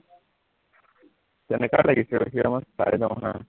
তেনেকুৱাই লাগিছে ৰখিবা মই চাই লও হা